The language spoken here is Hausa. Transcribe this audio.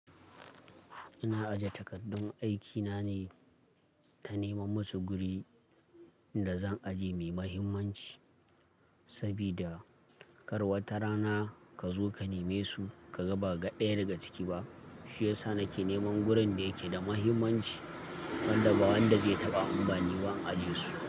Ina aje takardun aikina ne, ta nemam musu guri. Inda zan aje me mahimmanci. Sabida kar wata rana ka zo ka neme su ka baka ɗaya daga ciki ba. Shi ya sa nake neman gurin da yake da mahimmanci. Wanda ba wanda zai taɓa in bani ba aje su.